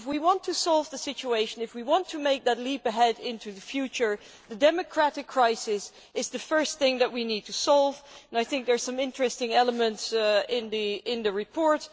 If we want to solve the situation, if we want to make that leap ahead into the future, then the democratic crisis is the first thing that we need to solve and I think there are some interesting elements in the report.